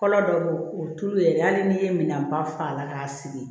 Kɔrɔ dɔ bɛ yen o tulu ye dɛ hali n'i ye minan ba fa la k'a sigi